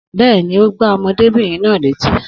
Bẹ́ẹ̀ni, ó gbá ọmọdébìnrin náà létí